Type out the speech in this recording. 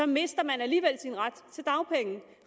mister man alligevel sin ret til dagpenge